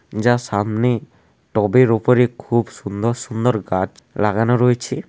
যা সামনে টবের উপরে খুব সুন্দর সুন্দর গাছ লাগানো রয়েছে।